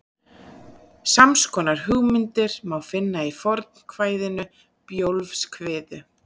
Sams konar hugmyndir má finna í fornkvæðinu Bjólfskviðu.